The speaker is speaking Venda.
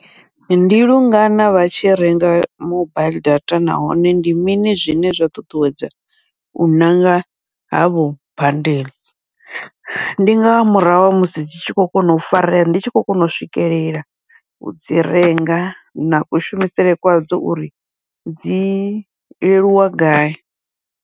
Ndi lungana vha tshi renga mobaiḽi data nahone ndi mini zwine zwa ṱuṱuwedza u ṋanga havho bandela, ndi nga murahu ha musi dzi tshi khou kona u farea ndi tshi khou kona u swikelela udzi renga, na kushumisele kwa dzo uri dzi leluwa gai.